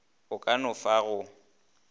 a ka no ya go